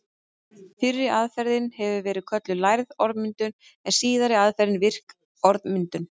Fyrri aðferðin hefur verið kölluð lærð orðmyndun en síðari aðferðin virk orðmyndun.